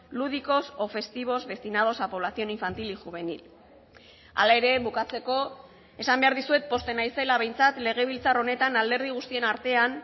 lúdicos o festivos destinados a población infantil y juvenil hala ere bukatzeko esan behar dizuet pozten naizela behintzat legebiltzar honetan alderdi guztien artean